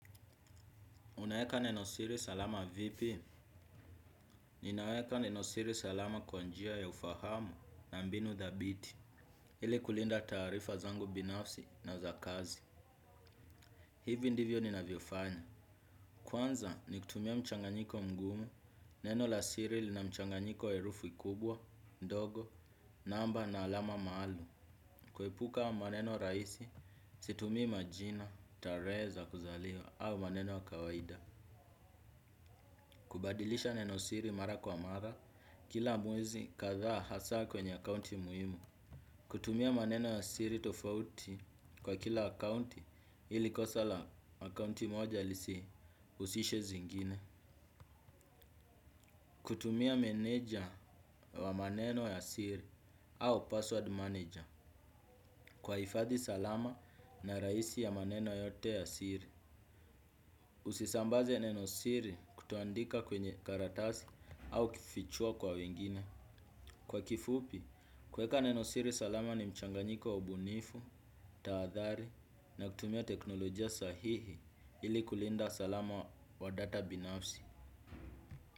Unaeka neno siri salama vipi? Ninaeka neno siri salama kwa njia ya ufahamu na mbinu dhabiti. Ili kulinda tarifa zangu binafsi na za kazi. Hivi ndivyo ni navyofanya. Kwanza ni kutumia mchanganyiko mgumu, neno la siri lina mchanganyiko herufi kubwa, ndogo, namba na alama maalum. Kuepuka maneno rahisi, situmi majina, tarehe za kuzaliwa, au maneno kawaida. Kubadilisha neno siri mara kwa mara kila mwezi kadhaa hasa kwenye akounti muhimu. Kutumia maneno ya siri tofauti kwa kila akounti ili kosa la akounti moja lisiusishe zingine. Kutumia meneja wa maneno ya siri au password manager kwa hifadhi salama na rahisi ya maneno yote ya siri. Usisambaze neno siri kutoandika kwenye karatasi au kufichua kwa wengine. Kwa kifupi, kuweka neno siri salama ni mchanganyiko wa ubunifu, taadhari na kutumia teknolojia sahihi ili kulinda salama wa data binafsi.